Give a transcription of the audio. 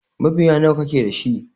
Mabiya nawa kake dashi?